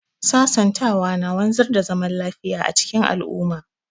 Sasantawa na wanzar da zaman lafiya a cikin al'umma.